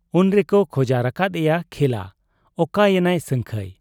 ᱩᱱᱨᱮᱠᱚ ᱠᱷᱚᱡᱟᱨ ᱟᱠᱟᱫ ᱮᱭᱟ ᱠᱷᱮᱞᱟ ᱾ ᱚᱠᱟ ᱮᱱᱟᱭ ᱥᱟᱹᱝᱠᱷᱟᱹᱭ ?